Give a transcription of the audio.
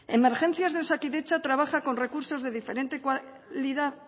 emergencias de osakidetza trabaja con recursos de diferente cualidad